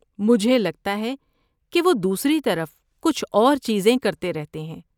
مجھے لگتا ہے کہ وہ دوسری طرف کچھ اور چیزیں کرتے رہتے ہیں۔